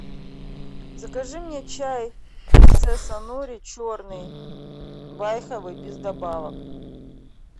закажи мне чай принцесса нури черный байховый без добавок